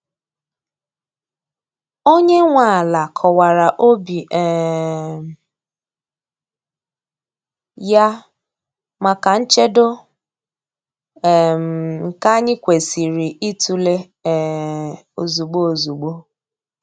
Onye nwe ala kọwara obi um ya maka nchedo, um nke anyị kwesịrị ịtụle um ozugbo ozugbo.